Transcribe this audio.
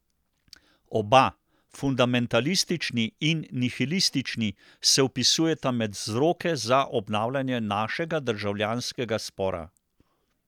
Oba, fundamentalistični in nihilistični, se vpisujeta med vzroke za obnavljanje našega državljanskega spora.